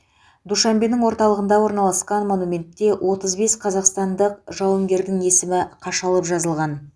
душанбенің орталығында орналасқан монументте отыз бес қазақстандық жауынгердің есімі қашалып жазылған